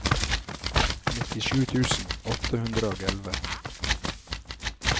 nittisju tusen åtte hundre og elleve